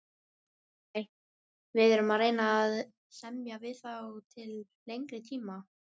Nei, við erum að reyna að semja við þá til lengri tíma.